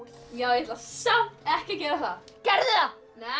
ég ætla samt ekki að gera það gerðu það nei